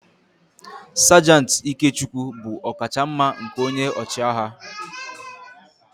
Sajant Ikechukwu bụ ọkachamma nke onye ọchịagha